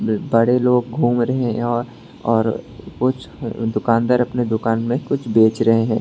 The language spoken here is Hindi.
बड़े लोग घूम रहे हैं और और कुछ दुकानदार अपने दुकान में कुछ बेच रहे हैं।